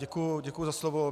Děkuji za slovo.